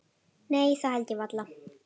Nei það held ég varla.